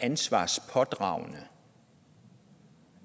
ansvarspådragende